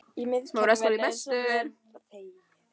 Í miðkerfinu sem kennt er við